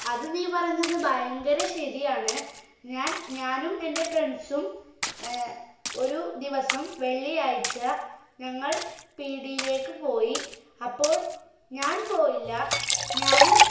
അത് നീ പറഞ്ഞത് ഭയങ്കര ശരിയാണ് ഞാൻ ഞാനും എന്റെ friends ഉം ഏർ ഒരു ദിവസം വെള്ളിയാഴ്ച ഞങ്ങൾ പീടിലേക്ക് പോയി അപ്പോൾ ഞാൻ പോയില്ല ഞാനും